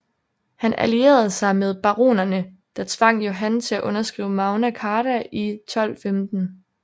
Han allierede sig med baronerne der tvang Johan til at underskrive Magna Carta i 1215